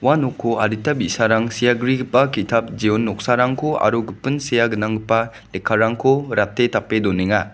ua noko adita bi·sarang sea grigipa ki·tap jeon noksarangko aro gipin sea gnanggipa lekkarangko rate tape donenga.